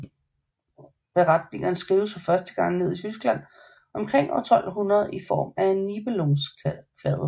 Beretningerne skrives første gang ned i Tyskland omkring år 1200 i form af Nibelungenkvadet